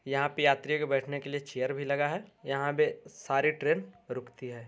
यहाँ पे यात्रियों के बैठने के लिए चेयर भी लगा है। यहाँ पे सारी ट्रेन रूकती है।